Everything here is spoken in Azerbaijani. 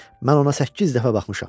Mən ona səkkiz dəfə baxmışam.